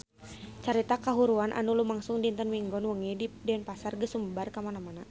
Carita kahuruan anu lumangsung dinten Minggon wengi di Denpasar geus sumebar kamana-mana